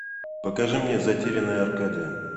покажи мне затерянная аркадия